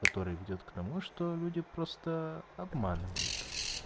который ведёт к тому что люди просто обманывают